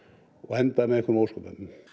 enda með einhverjum ósköpum